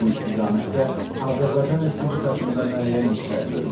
Bu istiqamətdə Azərbaycan Respublikasında müəyyən işlər görülür.